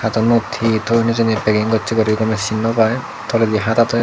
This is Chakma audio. ten unot hi toyon hijeni peging gocche guri gomey sin nopai toledi hada toyon.